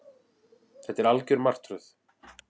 Þetta er algjör martröð